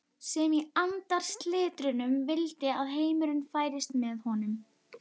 sem í andarslitrunum vildi að heimurinn færist með honum.